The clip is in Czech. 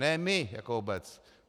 Ne my jako obec!